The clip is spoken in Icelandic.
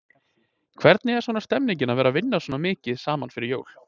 Hvernig er svona stemningin að vera vinna svona mikið saman fyrir jól?